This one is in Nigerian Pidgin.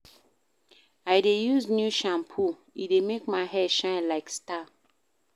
I dey use dis new shampoo, e dey make my hair shine like star.